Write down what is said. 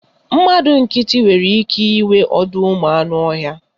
Mmadụ nkịtị nwere ike inwe ọdọụmụanụọhịa